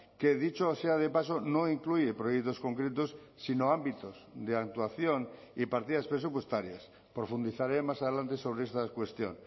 que dicho sea de paso no incluye proyectos concretos sino ámbitos de actuación y partidas presupuestarias profundizaré más adelante sobre esta cuestión